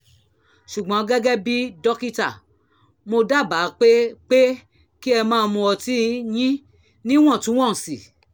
ṣùgbọ́n gẹ́gẹ́ bí dókítà mo dábàá pé pé kí ẹ máa mu ọtí yín níwọ̀ntúnwọ̀nsì